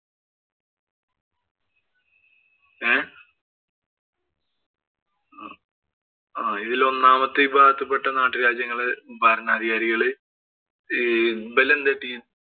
ഏർ ഇതില് ഒന്നാമത്തെ വിഭാഗത്തില്‍ പെട്ട നാട്ടുരാജ്യങ്ങള് ഭരണാധികാരികള്